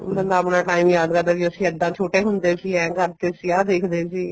ਬੰਦਾ ਆਪਣਾ time ਯਾਦ ਕਰਦਾ ਵੀ ਇੱਦਾਂ ਅਸੀਂ ਛੋਟੇ ਹੁੰਦੇ ਸੀ ਏਂ ਕਰਕੇ ਅਸੀਂ ਆਹ ਦੇਖਦੇ ਸੀ